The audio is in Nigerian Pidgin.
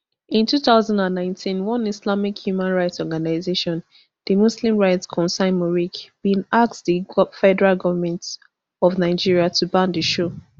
in two thousand and nineteen one islamic human rights organisation di muslim rights concern muric bin ask di federal goment of nigeria to ban di show